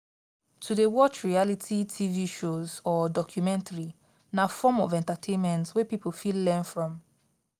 to de watch reality tv shows or documentaries na form of entertainment wey pipo fit learn from